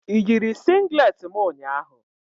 Ị yiri singlet m ụnyahụ?